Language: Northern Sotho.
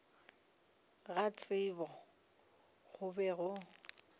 ga tsebo go be go